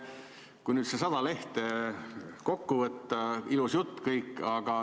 Kui nüüd need 100 lehte kokku võtta – ilus jutt kõik.